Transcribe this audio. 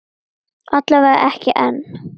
Alla vega ekki enn.